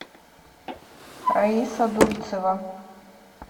раиса дульцева